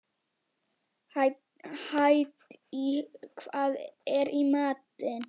Hædý, hvað er í matinn?